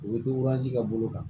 U bɛ ka bolo kan